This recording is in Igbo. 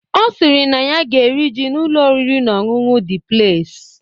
Ọ sịrị na ya ga-eri ji n'Ụlọ oriri na ọṅụṅụ Dị Pleis